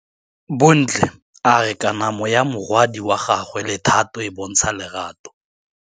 Bontle a re kamanô ya morwadi wa gagwe le Thato e bontsha lerato.